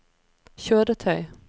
kjøretøy